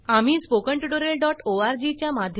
आम्ही स्पोकन tutorialओआरजी